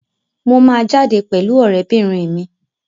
Mo máa jáde pẹ̀lú ọ̀rẹ́bìnrin mi.